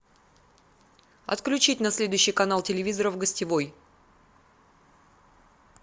отключить на следующий канал телевизора в гостевой